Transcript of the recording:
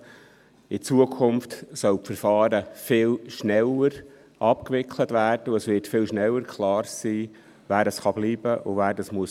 In Zukunft sollen die Verfahren viel schneller abgewickelt werden, und es wird viel schneller klar sein, wer bleiben kann und wer gehen muss.